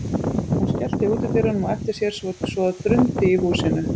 Hún skellti útidyrunum á eftir sér svo að drundi í húsinu.